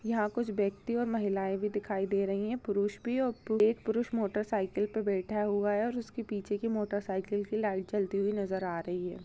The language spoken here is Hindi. यहाँ कुछ व्यक्ति और महिलायें भी दिखाई दे रही है पुरुष भी एक पुरुष मोटर साइकिल पे बैठा हुआ है और उसके पीछे के मोटर साइकिल कि लाइट जलती हुई नजर आ रही है।